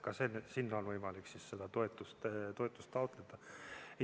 Ka sealt on võimalik seda toetust taotleda.